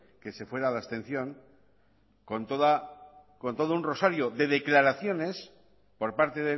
que se fuera a la abstención con todo un rosario de declaraciones por parte